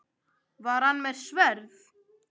Var hann með sverð?